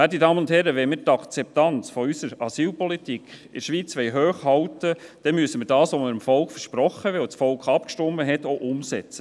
Werte Damen und Herren, wenn wir die Akzeptanz unserer Asylpolitik in der Schweiz hochhalten wollen, dann müssen wir das, was wir dem Volk versprochen haben, worüber das Volk abgestimmt hat, auch umsetzen.